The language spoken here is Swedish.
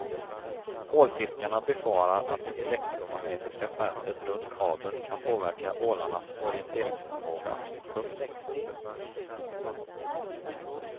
Ålfiskarna befarar att det elektromagnetiska fältet runt kabeln kan påverka ålarnas orienteringsförmåga. punkt